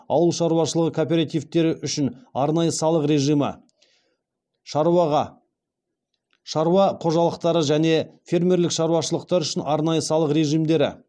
ауыл шаруашылығы кооперативтері үшін арнайы салық режимі шаруа қожалықтары және фермерлік шаруашылықтар үшін арнайы салық режимдері